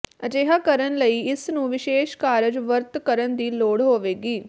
ਅਜਿਹਾ ਕਰਨ ਲਈ ਇਸ ਨੂੰ ਵਿਸ਼ੇਸ਼ ਕਾਰਜ ਵਰਤ ਕਰਨ ਦੀ ਲੋੜ ਹੋਵੇਗੀ